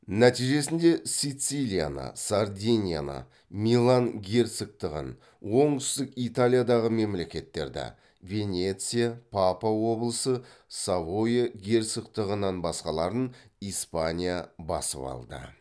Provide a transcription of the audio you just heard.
нәтижесінде сицилияны сардинияны милан герцогтығын оңтүстік италиядағы мемлекеттерді испания басып алды